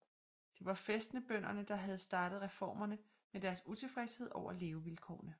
Det var fæstebønderne der havde startet reformerne med deres utilfredshed over levevilkårene